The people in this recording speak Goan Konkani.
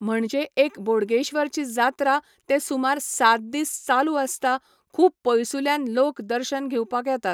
म्हणजे एक बोडगेश्वरची जात्रा ते सूमार सात दीस चालू आसता खूब पयसुल्यान लोक दर्शन घेवपाक येतात